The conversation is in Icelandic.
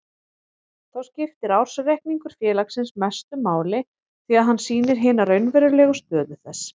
Þá skiptir ársreikningur félagsins mestu máli því að hann sýnir hina raunverulegu stöðu þess.